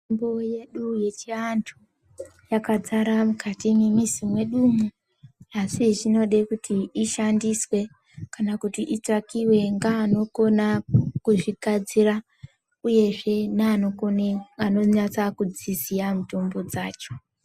Mitombo yedu yechiantu yakadzara mukati mwemizi mwedu umu asi zvinode kuti ishandiswe kana kuti itsvakiwe ngeanokona kuzvigadzira uyezve neanokone anonyatsa kudziziya mitombo dzacho.